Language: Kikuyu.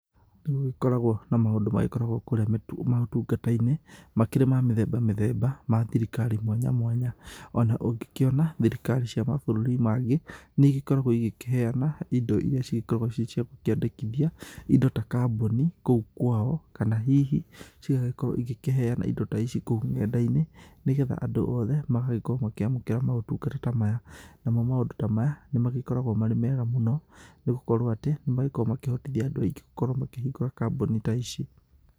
Nĩ gũgĩkoragwo na maũndũ magĩkoragwo kũrĩa maũtungata-inĩ makĩri ma mĩthemba mĩthemba, ma thirikari mwanya mwanya. Ona ũngĩkĩona thirikari cia mabũrũri mangĩ nĩ igĩkoragwo igĩkĩheana indo iria cigĩkoragwo cirĩ cia gũkĩandĩkithia indo ta kambuni kũu kwao. Kana hihi igagĩkorwo igĩkĩheana indo ta ici kũu ng'enda-inĩ nĩ getha andũ othe magagĩkorwo makĩamũkĩra mautungata ta maya. Namo maũndũ ta maya nĩ magĩkoragwo me mega mũno, nĩ gũkorwo atĩ nĩ magĩkoragwo makĩhotithia andũ aingĩ gũkĩhingũra kambuni ta ici.